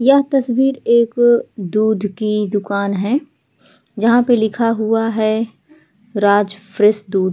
यह तस्वीर एक अ दूध की दुकान है जहां पे लिखा हुआ है राज फ्रेश दूध |